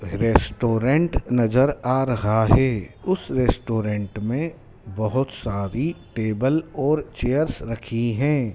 Restaurant नजर आ रहा है उस रेस्टोरेंट में बहोत सारी टेबल और चेयर्स रखी हैं।